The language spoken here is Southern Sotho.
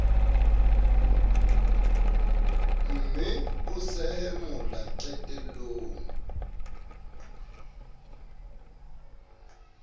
mme o sehe mola qetellong